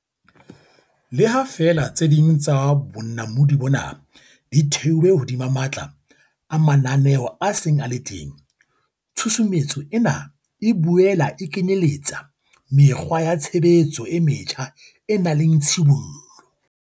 Le ha feela tse ding tsa bonamodi bona di thehilwe hodima matla a mananeo a seng a le teng, tshusumetso ena e boela e kenyeletsa mekgwa ya tshebetso e metjha e nang le tshibollo.